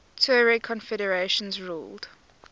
tuareg confederations ruled